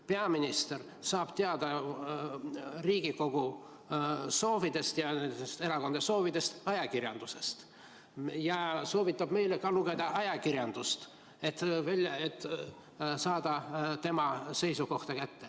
Peaminister saab teada Riigikogu soovidest ja erakondade soovidest ajakirjandusest ja soovitab meile ka lugeda ajakirjandust, et saada teada tema seisukohta.